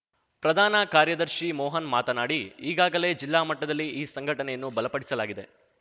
ಪ್ರಧಾನ ಕಾರ್ಯದರ್ಶಿ ಮೋಹನ್‌ ಮಾತನಾಡಿ ಈಗಾಗಲೇ ಜಿಲ್ಲಾ ಮಟ್ಟದಲ್ಲಿ ಈ ಸಂಘಟನೆಯನ್ನು ಬಲಪಡಿಸಲಾಗಿದೆ